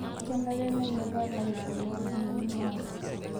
Kenare nenyorra larikok loo ndinii maate